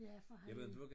Ja for han er